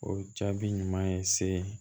O jaabi ɲuman ye se